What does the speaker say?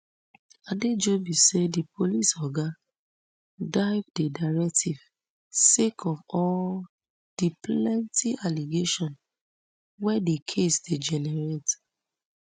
adejobi say di police oga dive di directive sake of all di plenty allegation were di case dey generate